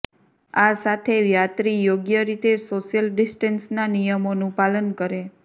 આ સાથે યાત્રી યોગ્ય રીતે સોશિયલ ડિસ્ટેન્સના નિયમોનું પાલન કરે